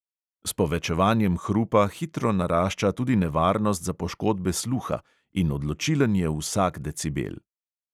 S povečevanjem hrupa hitro narašča tudi nevarnost za poškodbe sluha in odločilen je vsak decibel.